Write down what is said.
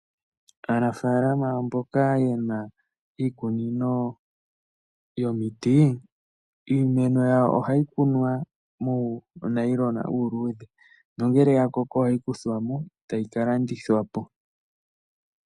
Aanafalama mboka ye na iikunino yomiti, iimeno yawo ohayi kunwa muunayilona uuluudhe nongele ya koko ohayi kuthwa mo tayi ka landithwa po.